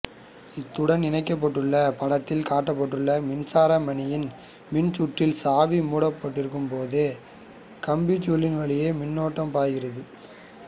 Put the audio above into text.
இத்துடன் இணைக்கப்பட்டுள்ள படத்தில் காட்டப்பட்டுள்ள மின்சார மணியின் மின் சுற்றில் சாவி மூடப்பட்டிருக்கும் போது கம்பிச்சுருளின் வழியே மின்னோட்டம் பாய்கிறது